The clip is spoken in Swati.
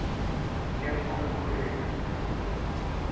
yenkhwekhweti